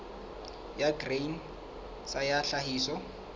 ya grain sa ya tlhahiso